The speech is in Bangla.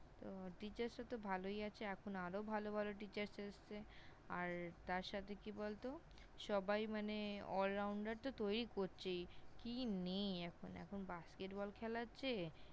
Teachers রা তো ভালোই আছে, এখন আরও ভালো ভালো Teachers এসেছে। আর তার সাথে কি বলত, সবাই মানে allrounder তো তৈরি করছেই কি নেই এখন! এখন Basked Ball খেলাচ্ছে।